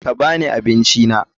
Ka ba ni abincina.